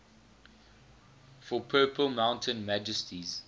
for purple mountain majesties